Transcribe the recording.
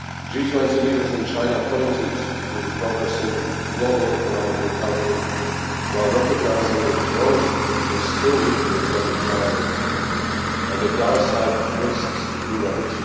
G20 leaders in China pointed to the progressing global economic recovery, while recognising that growth was still weaker than desirable and that downside risks remained.